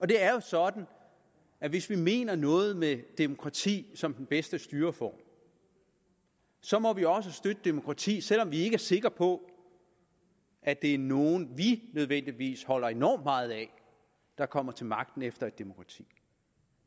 det er jo sådan at hvis vi mener noget med demokrati som den bedste styreform så må vi også støtte demokrati selv om vi ikke er sikre på at det er nogen vi nødvendigvis holder enormt meget af der kommer til magten i et demokrati